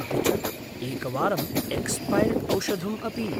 अपि च एकवारं एक्स्पैर्ड् औषधम् अपि।